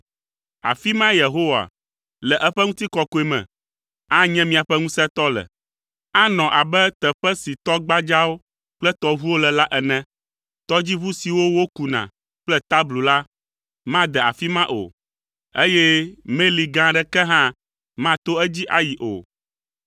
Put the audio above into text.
Afi mae Yehowa, le eƒe ŋutikɔkɔe me, anye míaƒe Ŋusẽtɔ le. Anɔ abe teƒe si tɔ gbadzawo kple tɔʋuwo le la ene. Tɔdziʋu siwo wokuna kple tablu la, made afi ma o eye meli gã aɖeke hã mato edzi ayi o,